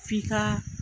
F'i ka